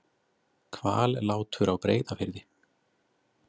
Hvallátur á Breiðafirði.